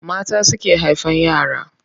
Mata suke haifan yara.